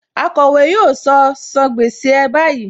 Akọ̀wé yóò sọ " san gbèsè ẹ báyìí '.